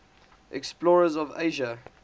explorers of asia